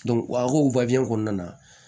a ka o kɔnɔna na